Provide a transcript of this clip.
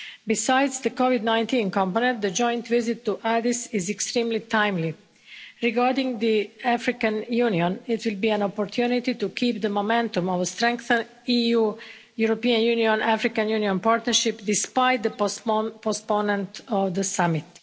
Besides the COVID-19 component, the joint visit to Addis is extremely timely. Regarding the African Union, it will be an opportunity to keep the momentum of a strengthened European Union African Union partnership despite the postponement of the summit.